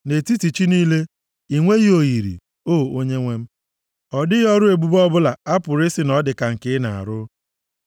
Nʼetiti chi niile, i nweghị oyiri, O Onyenwe m; ọ dịghị ọrụ ebube ọbụla a pụrụ ị sị na ọ dị ka nke ị na-arụ.